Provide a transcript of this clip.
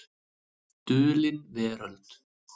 Dulin Veröld.